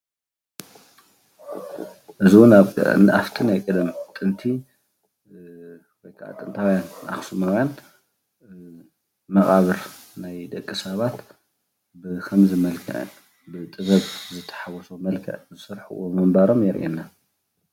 እዚ ኣብእቲ ናይ ቀደም ጥንቲ ወይ ከዓ ጥንታዊያን ኣክሱማዊያን መቃብር ናይ ደቂ ሰባት ብከምዚ መልክዕ ብጥበብ ዝተሓወሶ መልክዕ ዝሰርሕዎ ምንባሮም የርእየና፡፡